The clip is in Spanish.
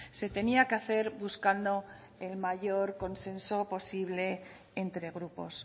se tenía que hacer buscando el mayor consenso posible entre grupos